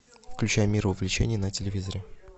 включай мир увлечений на телевизоре